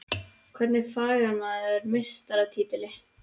Hvernig fagnar maður meistaratitli?